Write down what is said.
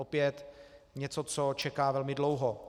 Opět něco, co čeká velmi dlouho.